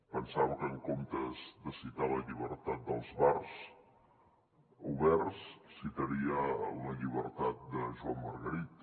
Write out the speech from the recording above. pensava que en comptes de citar la llibertat dels bars oberts citaria la llibertat de joan margarit